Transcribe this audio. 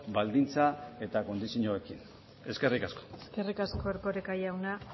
baldintza eta kondizioekin eskerrik asko eskerrik asko erkoreka jauna